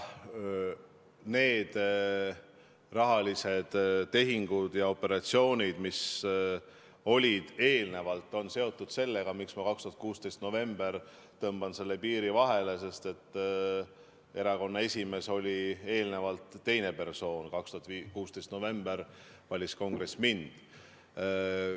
Need rahalised tehingud ja operatsioonid, mis olid eelnevalt, on seotud sellega, miks ma 2016. aasta novembrist tõmban selle piiri vahele, sest erakonna esimees oli eelnevalt teine persoon, 2016. aasta novembris valis kongress mind.